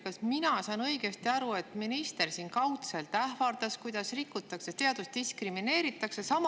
Kas ma saan õigesti aru, et minister siin kaudselt ähvardas, et rikutakse seadust, diskrimineeritakse?